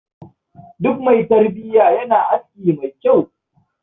Duk mai tarbiya yana aski mai kyau.